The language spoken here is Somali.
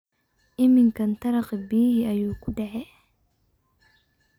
Iminkan taraqi biyixi ayukudace.